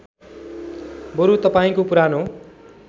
बरु तपाईँको पुरानो